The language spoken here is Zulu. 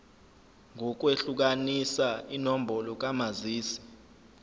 ngokwehlukanisa inombolo kamazisi